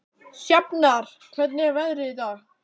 Sjafnar, hvernig er veðrið í dag?